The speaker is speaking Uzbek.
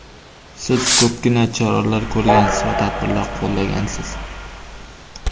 Siz ko‘pgina choralar ko‘rgansiz va tadbirlar qo‘llagansiz.